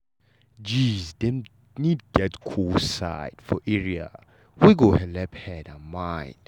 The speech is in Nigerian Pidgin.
gees dem need get cool side for area wet go helep head and mind.